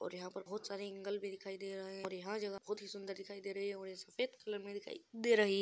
और यहाँ पर बहुत सारे एंगल भी दिखाई दे रहे हैं और यह जगह बहुत ही सुंदर दिखाई दे रही है और ये सफ़ेद कलर में दिखाई दे रही है।